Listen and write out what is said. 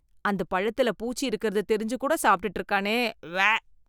அந்த பழத்துல பூச்சி இருக்கறது தெரிஞ்சு கூட சாப்பிட்டுட்டு இருக்கானே, உவ்வே.